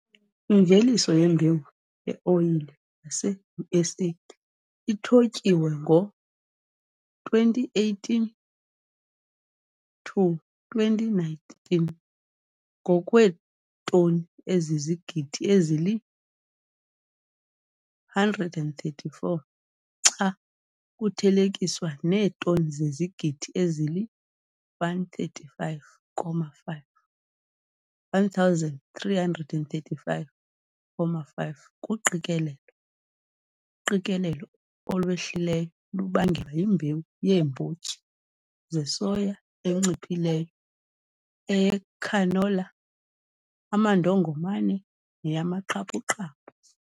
Imveliso yembewu yeoyile yaseUSA ithotyiwe ngo-2018 to 2019, ngokweetoni zezigidi ezili-134 xa kuthelekiswa neetoni zezigidi ezili-135,5 kuqikelelo. Uqikelelo olwehlileyo lubangelwa yimbewu yeembotyi zesoya enciphileyo, eyecanola, amandongomane neyamaqaqaphu.